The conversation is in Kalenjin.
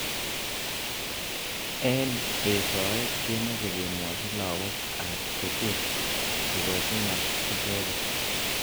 Eng eshoet komeche kemwochi lakok ab sukul ak kikochi ng'al icheket.